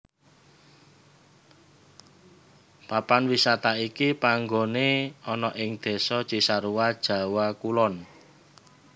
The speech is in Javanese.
Papan wisata iki panggoné ana ing Désa Cisarua Jawa Kulon